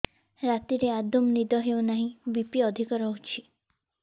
ରାତିରେ ଆଦୌ ନିଦ ହେଉ ନାହିଁ ବି.ପି ଅଧିକ ରହୁଛି